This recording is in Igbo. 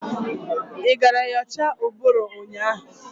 Ị gara nyocha ụbụrụ ụnyaahụ?